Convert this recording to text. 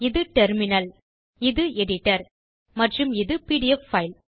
இது டெர்மினல் இது எடிட்டர் மற்றும் இது பிடிஎஃப் பைல்